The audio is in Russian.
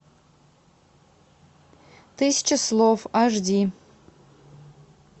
тысяча слов аш ди